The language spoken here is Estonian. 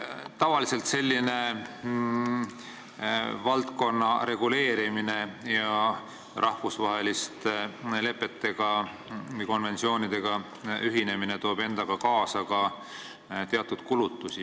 Tavaliselt toob selline valdkonna reguleerimine ja rahvusvaheliste lepete või konventsioonidega ühinemine endaga kaasa ka teatud kulutusi.